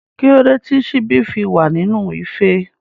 Kílódé tí síbí fi wa nínú ife?